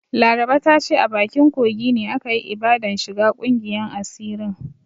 Laraba ta ce a bakin kogi ne aka yi ibadan shiga ƙungiyan asirin.